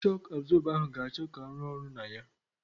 Shọku abzọba ahụ ga-achọ ka arụ ọrụ na ya.